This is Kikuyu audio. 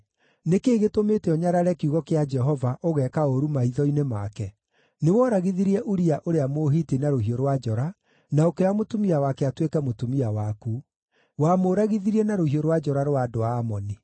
Nĩ kĩĩ gĩtũmĩte ũnyarare kiugo kĩa Jehova, ũgeeka ũũru maitho-inĩ make? Nĩwooragithirie Uria ũrĩa Mũhiti na rũhiũ rwa njora, na ũkĩoya mũtumia wake atuĩke mũtumia waku. Wamũragithirie na rũhiũ rwa njora rwa andũ a Amoni.